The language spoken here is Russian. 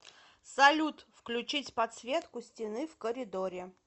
салют включить подсветку стены в коридоре